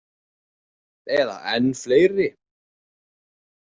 Eða enn fleiri.